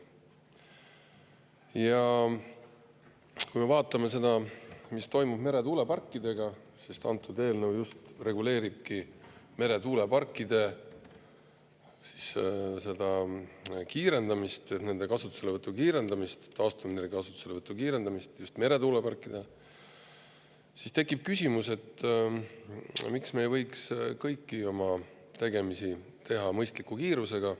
Ja kui me vaatame seda, mis toimub meretuuleparkidega – sest antud eelnõu reguleeribki meretuuleparkide ja taastuvenergia, just meretuuleparkide kasutuselevõtu kiirendamist –, siis tekib küsimus, miks me ei võiks kõiki oma tegemisi teha mõistliku kiirusega.